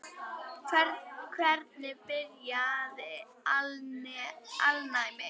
Hvernig byrjaði alnæmi?